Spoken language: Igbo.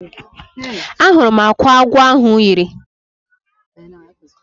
Ahụrụ m akwa agwọ ahụ yiri.